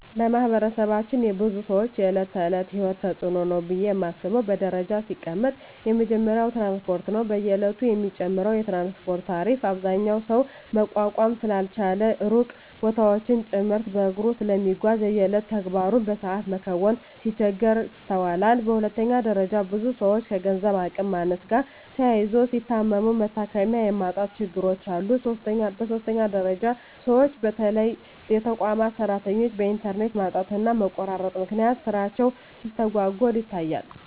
በማህበረሰባችን የብዙ ሰወች የእለት ተእለት የሂወት ተጽኖ ነው ብየ ማስበው በደረጃ ሲቀመጥ የመጀመሪያው ትራንስፓርት ነው። በየእለቱ የሚጨምረው የትራንስፓርት ታሪፍ አብዛኛው ሰው መቋቋም ስላልቻለ ሩቅ ቦታወችን ጭምርት በእግሩ ስለሚጓዝ የየእለት ተግባሩን በሰአት መከወን ሲቸገር ይስተዋላል። በሁለተኛ ደረጃ ብዙ ሰወች ከገንዘብ አቅም ማነስ ጋር ተያይዞ ሲታመሙ መታከሚያ የማጣት ችግሮች አሉ። በሶስተኛ ደረጃ ሰወች በተለይ የተቋማት ሰራተኞች በእንተርኔት ማጣትና መቆራረጥ ምክንያት ስራቸው ሲስተጓጎል ይታያል።